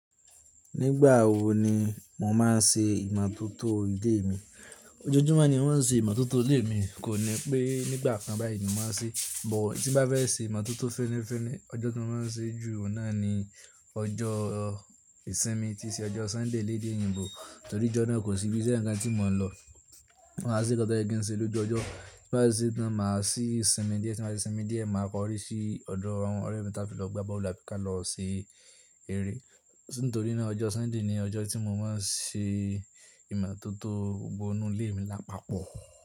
Nígbà wo ni mo máa ń ṣe ìmọ̀tótó ilé mi? Ojoojúmọ́ ni mo ń ṣe ìmọ̀tótó ilé mi, kò ní pé nígbà kan báyìí ni mo máa ń ṣe é. But tí mo bá fẹ́ ṣe ìmọ̀tótó féniféni ọjọ́ ti máa ń ṣe é jù òun náà ni ọjọ́ ìsinmi tí ṣe ọjọ́ Sunday léde òyìnbó, torí ijọ́ náà kò sí ibise kankan tí mo n lọ. Ma ṣe nkan toye kín ṣe lójú ọjọ́, tí mo bá ṣe tán, màá sí sinmi díẹ̀, tí mo bá sinmi díẹ̀, màá kọ orí sí ọ̀dọ̀ àwọn ọ̀rẹ́ mi táfí lọ gba boolu abi ka lọ ṣe eré. Nítorí náà ọjọ́ Sunday ni ọjọ́ tí mo máa ń ṣe ìmọ̀tótó gbogbo inú ilé mi lápapọ̀